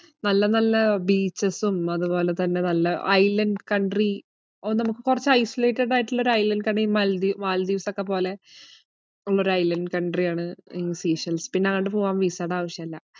നല്ല നല്ല beaches ഉം അതുപോലെ തന്നെ നല്ല island country ഒ~ നമ്മക്ക് കൊറച് isolated ആയിട്ട്ള്ള ഒരു island ഇലേക്കാണേൽ മാൽദീ~ മാൽദ്വീപ്സൊക്കെ പോലെ ഒള്ളാരു island country യാണ് in സീഷെൽസ്. പിന്നെ അങ്ങട് പോവാൻ visa ടെ ആവശ്യയില്ല.